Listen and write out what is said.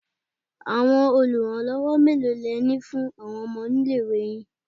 Àwọn oluranlowo mélòó le ní fún àwọn ọmọ nílé-ìwé yìí?